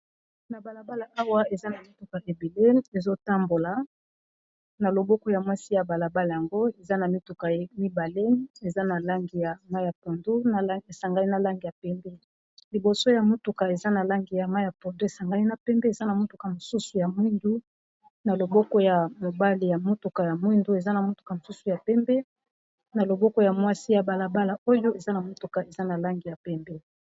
Na bala bala awa eza na mituka ebele ezo tambola, na loboko ya mwasi ya bala bala yango eza na mituka ya mibale eza na langi ya mayi ya pondu esangani na langi ya pembe, liboso ya motuka eza na langi ya mayi ya pondu esangani na pembe eza na motuka mosusu ya mwindu na loboko ya mobali ya motuka ya mwindu eza na motuka mosusu ya pembe na loboko ya mwasi ya bala bala oyo eza na motuka eza na langi ya pembe.